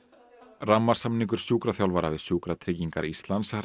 rammasamningur sjúkraþjálfara við Sjúkratryggingar Íslands rann